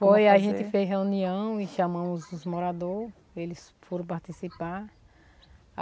Foi, a gente fez reunião e chamamos os moradores, eles foram participar.